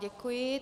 Děkuji.